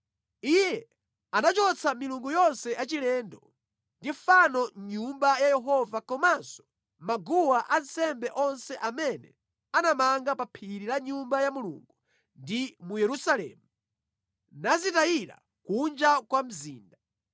Iye anachotsa milungu yonse yachilendo ndi fano mʼNyumba ya Yehova komanso maguwa ansembe onse amene anamanga pa phiri la Nyumba ya Mulungu ndi mu Yerusalemu, nazitayira kunja kwa mzinda.